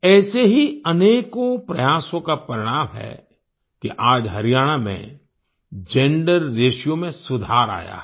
ऐसे ही अनेकों प्रयासों का परिणाम है कि आज हरियाणा में जेंडर रेशियो में सुधार आया है